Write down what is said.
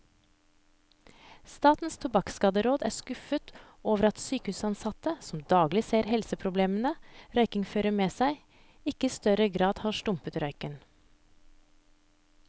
Statens tobakkskaderåd er skuffet over at sykehusansatte, som daglig ser helseproblemene røykingen fører med seg, ikke i større grad har stumpet røyken.